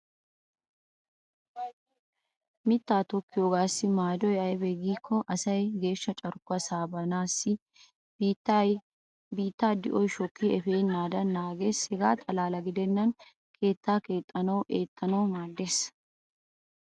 Mittaa tokkiyoogaassi maadoy aybee giikko geeshsha carkkuwaa saabeesnne biittaa di'oy shokkidi efennaadan naagees. Hegaa xalla gidennan keettaa keexxanawunne eettanawu maaddees.